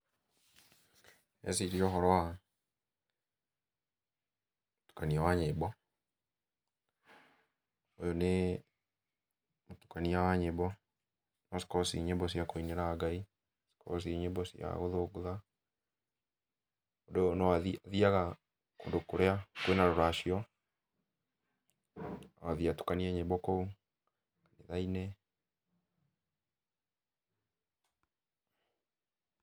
Ndĩreciria ũhoro wa, ,mũtukanio wa nyĩmbo, ,ũyũ nĩ mũtukania wa nyĩmbo, no cikorwo ciĩ nyĩmbo cia kũinĩra Ngai, no cikorwo ciĩ nyĩmbo cia gũthũngũtha, mũndũ ũyũ no athiaga kũndũ kũrĩa kwĩna rũracio, no athiĩ atukanie nyĩmbo kũu, kanitha-inĩ,